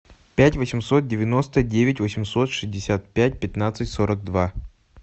пять восемьсот девяносто девять восемьсот шестьдесят пять пятнадцать сорок два